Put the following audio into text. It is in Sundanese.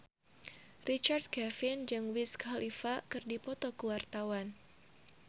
Richard Kevin jeung Wiz Khalifa keur dipoto ku wartawan